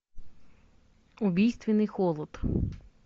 убийственный холод